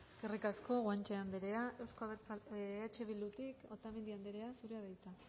eskerrik asko guanche anderea eh bildutik otamendi anderea zurea da hitza